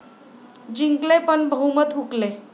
जिंकले पण बहुमत हुकले